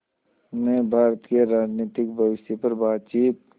ने भारत के राजनीतिक भविष्य पर बातचीत